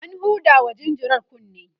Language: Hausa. an hudawa jinjirar kunne